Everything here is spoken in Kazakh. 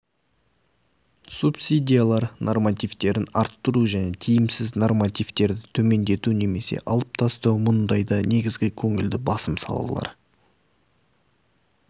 субсидиялар нормативтерін арттыру және тиімсіз нормативтерді төмендету немесе алып тастау мұндайда негізгі көңілді басым салалар